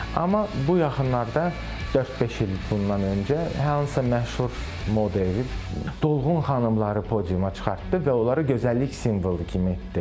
Amma bu yaxınlarda dörd-beş il bundan öncə hansısa məşhur model dolğun xanımları podiuma çıxartdı və onlara gözəllik simvolu kimi idi.